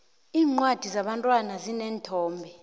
iincwadi zebantwana zineenthombe